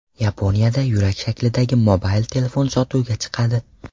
Yaponiyada yurak shaklidagi mobil telefon sotuvga chiqadi.